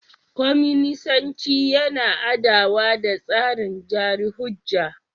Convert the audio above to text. Kwaminisanci yana adawa da tsarin jari hujja.